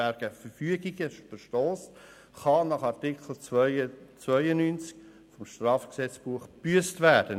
«Wer gegen Verfügungen verstösst, kann nach Artikel 92 StGB gebüsst werden.